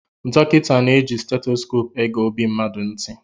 Dọkịta na-eji seitosope ege ọbi mmadụ ntị.